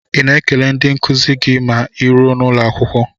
Ị na-ekele ndị nkuzi gị ma ịruo n'ụlọakwụkwọ?